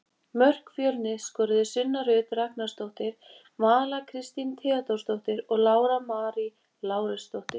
Mörk Fjölnis skoruðu Sunna Rut Ragnarsdóttir, Vala Kristín Theódórsdóttir og Lára Marý Lárusdóttir.